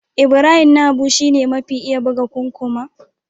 Ibrahim Na Habu shi ne mafi iya buga kukkuma.